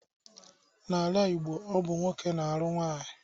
N'ala Igbo ọ bụ nwoke na-alụ nwanyị.